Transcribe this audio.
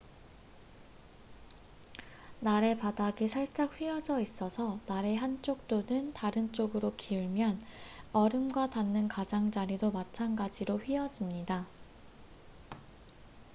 날의 바닥이 살짝 휘어져 있어서 날이 한쪽 또는 다른 쪽으로 기울면 얼음과 닿는 가장자리도 마찬가지로 휘어집니다